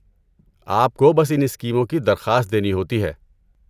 آپ کو بس ان اسکیموں کی درخواست دینی ہوتی ہے۔